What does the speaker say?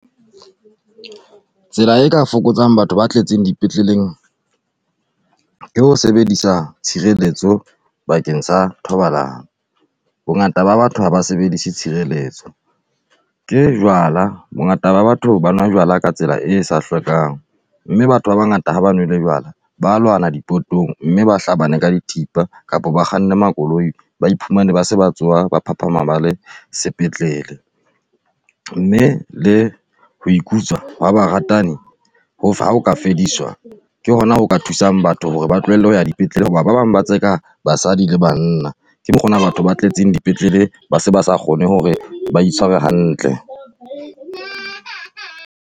Tsela e ka fokotsang batho ba tletseng dipetleleng ke ho sebedisa tshireletso bakeng sa thobalano. Bongata ba batho ha ba sebedise tshireletso. Ke jwala, bongata ba batho ba nwa jwala ka tsela e sa hlwekang, mme batho ba bangata ha ba nwele jwala ba a lwana dipotong mme ba hlabane ka dithipa kapa ba kganne makoloi, ba iphumane ba se tsoha ba phaphama ba le sepetlele, mme le ho ikutswa ha baratani ha ho ka fediswa ke hona ho ka thusang batho hore ba tlohelle ho ya dipetlele hoba ba bang ba tseka basadi le banna. Ke mokgona batho ba tletseng dipetlele ba se ba sa kgone hore ba itshwere hantle.